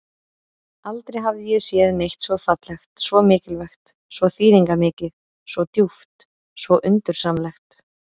Aldrei hafði ég séð neitt svo fallegt, svo mikilvægt, svo þýðingarmikið, svo djúpt, svo undursamlegt.